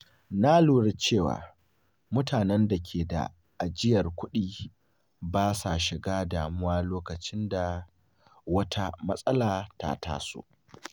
Na lura cewa mutane da ke da ajiyar kuɗi ba sa shiga damuwa lokacin da wata matsala ta taso.